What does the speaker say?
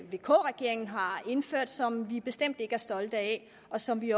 vk regeringen har indført som vi bestemt ikke er stolte af og som vi